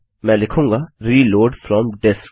मैं लिखूँगाreload from disc